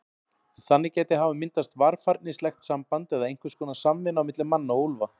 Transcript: Þannig gæti hafa myndast varfærnislegt samband eða einhvers konar samvinna á milli manna og úlfa.